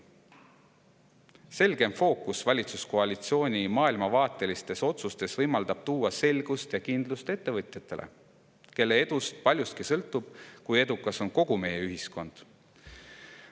Selgem fookus valitsuskoalitsiooni maailmavaatelistes otsustes võimaldab tuua selgust ja kindlust ettevõtjatele, kelle edust paljuski sõltub see, kui edukas on kogu meie ühiskond.